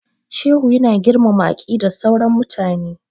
Shehu ya na girmama aqidar sauran mutane